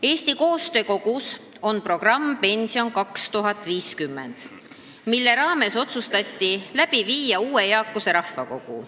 Eesti Koostöö Kogul on programm "Pension 2050", mille raames otsustati käivitada uue eakuse rahvakogu.